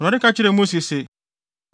Awurade ka kyerɛɛ Mose se,